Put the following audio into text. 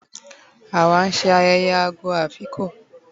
Àwá nse ayeye "ogo of Afikpo"